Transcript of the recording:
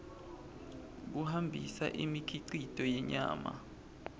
kuhambisa imikhicito yenyama